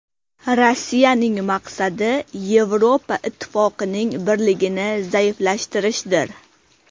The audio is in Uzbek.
Rossiyaning maqsadi Yevropa Ittifoqining birligini zaiflashtirishdir.